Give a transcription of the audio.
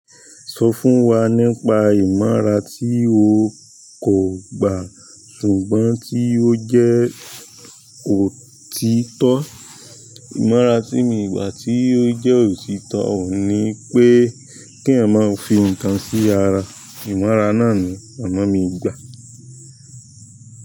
Sọ fún wa nípa ìmọra tí o kò gbà ṣùgbọ́n tí ó jẹ́ òtítọ́. Ìmọ̀ràn tí mi ò gbà tí ó jẹ́ òtítọ́, ò ní pé kí èèyàn máa fi nǹkan sí ara. Ìmọ̀ràn náà ni àmọ̀ mi gbà.